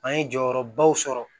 An ye jɔyɔrɔbaw sɔrɔ